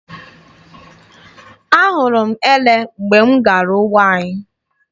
Ahụrụ m ele mgbe m gara ugbo anyị.